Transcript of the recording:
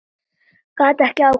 Gat ekki ákveðið neitt.